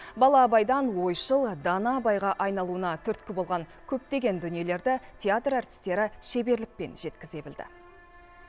бала абайдан ойшыл дана абайға айналуына түрткі болған көптеген дүниелерді театр әртістері шеберлікпен жеткізе білді